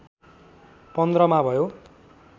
१५ मा भयो